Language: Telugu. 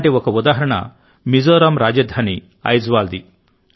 అలాంటి ఒక ఉదాహరణ మిజోరాం రాజధాని ఐజ్వాల్ ది